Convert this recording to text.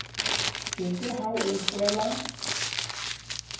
ke ke ha o tswela